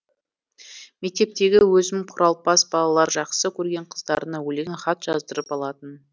мектептегі өзім құралпас балалар жақсы көрген қыздарына өлең хат жаздырып алатын